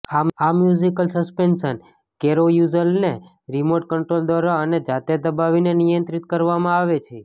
આ musical suspension કેરોયુઝલને remote control દ્વારા અને જાતે દબાવીને નિયંત્રિત કરવામાં આવે છે